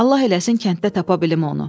Allah eləsin kənddə tapa bilim onu.